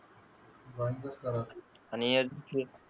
drawing च करावं आणि जे,